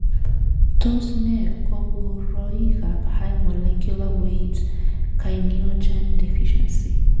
Tos nee koburoikab High molecular weight kininogen deficiency?